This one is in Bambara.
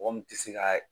Mɔgɔ min tɛ se ka